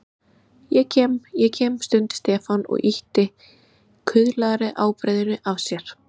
Ég kem, ég kem stundi Stefán og ýtti kuðlaðri ábreiðunni af sér.